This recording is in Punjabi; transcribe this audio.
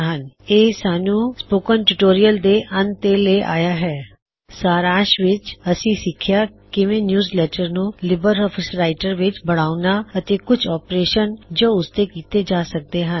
ਇਹ ਸਾੱਨ੍ਹੂ ਲਿਬਰ ਆਫਿਸ ਰਾਇਟਰ ਦੇ ਸਪੋਕਨ ਟਿਊਟੋਰਿਯਲ ਦੇ ਅੰਤ ਤੇ ਲੈ ਆਇਆ ਹੈ ਸਾਰਾਂਸ਼ ਵਿੱਚ ਅਸੀ ਸਿੱਖਿਆ ਕਿਵੇ ਨਿਯੂਜਲੈੱਟਰ ਨੂੰ ਲਿਬਰ ਆਫਿਸ ਰਾਇਟਰ ਵਿੱਚ ਬਣਾਉਣਾ ਅਤੇ ਕੁਛ ੳਪਰੇਸ਼ਨ ਜੋ ਉਸਤੇ ਕੀੱਤੇ ਜਾ ਸਕਦੇ ਹਨ